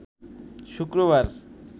শুক্রবার